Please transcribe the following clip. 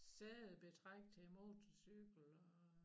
Sædebetræk til motorcykel og